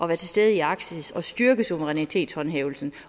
være til stede i arktis og styrke suverænitetshåndhævelsen